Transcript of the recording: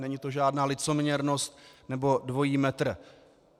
Není to žádná licoměrnost nebo dvojí metr.